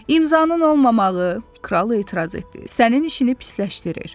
İmzanın olmamağı, kral etiraz etdi, sənin işini pisləşdirir.